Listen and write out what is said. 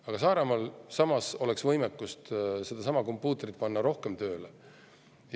Aga Saaremaal oleks võimekust seesama kompuutertomograaf rohkem tööle panna.